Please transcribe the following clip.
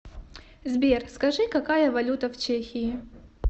сбер скажи какая валюта в чехии